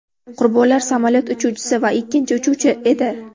Qurbonlar samolyot uchuvchisi va ikkinchi uchuvchisi edi.